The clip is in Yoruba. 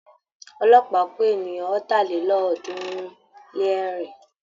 Ọlọ́pàá kó ènìyàn ọ̀tàlélọ́ọ̀ọ́dúnrún-lé-ẹ̀rin.